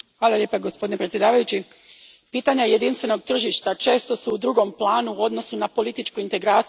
Gospodine predsjedniče, pitanja jedinstvenog tržišta često su u drugom planu u odnosu na političku integraciju.